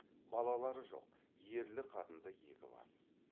балалары жоқ ерлі қатынды екі бас